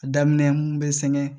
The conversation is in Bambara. A daminɛ mun bɛ sɛgɛn